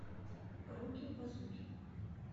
руки базуки